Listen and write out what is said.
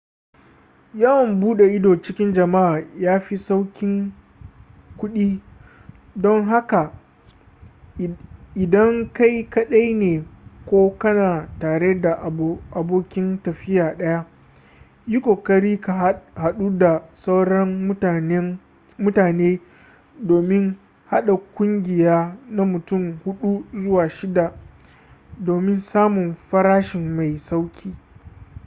yawan bude ido cikin jama'a ya fi saukin kudi don haka idan kai kadai ne ko kana tare da abokin tafiya daya yi kokari ka hadu da sauran mutane domin hada kungiya na mutum hudu zuwa shidda domin samun farashi mai sauki